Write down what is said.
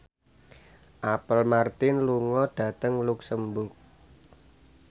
Apple Martin lunga dhateng luxemburg